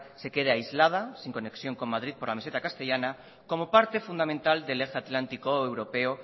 se quede aislada sin conexión con madrid por la meseta castellana como parte fundamental del eje atlántico europeo